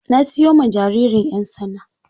Na siyo ma jaririn 'yan tsana.